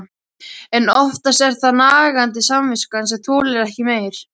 En oftast er það nagandi samviskan sem þolir ekki meir.